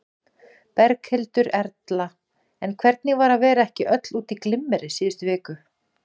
Berghildur Erla: En hvernig var að vera ekki öll út í glimmeri síðustu viku?